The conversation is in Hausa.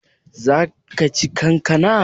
Zaka ci kankana?